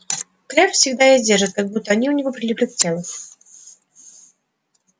крэбб всегда их держит как будто они у него прилипли к телу